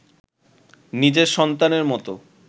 নিজের সন্তানের মতো